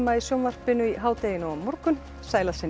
í sjónvarpinu í hádeginu á morgun sæl að sinni